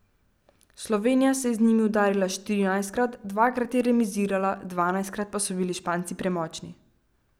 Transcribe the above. Slovenija se je z njimi udarila štirinajstkrat, dvakrat je remizirala, dvanajstkrat pa so bili Španci premočni.